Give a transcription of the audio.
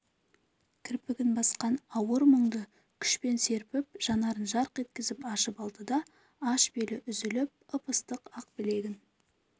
кірпігін басқан ауыр мұңды күшпен серпіп жанарын жарқ еткізіп ашып алды да аш белі үзіліп ып-ыстық ақ білегін